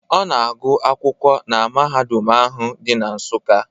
Ọ na-agụ akwụkwọ na mahadum ahụ dị na Nsuka.